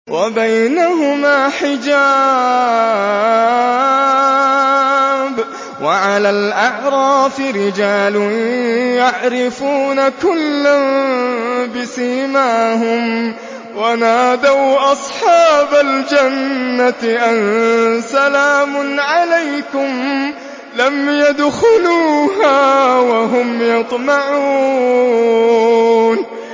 وَبَيْنَهُمَا حِجَابٌ ۚ وَعَلَى الْأَعْرَافِ رِجَالٌ يَعْرِفُونَ كُلًّا بِسِيمَاهُمْ ۚ وَنَادَوْا أَصْحَابَ الْجَنَّةِ أَن سَلَامٌ عَلَيْكُمْ ۚ لَمْ يَدْخُلُوهَا وَهُمْ يَطْمَعُونَ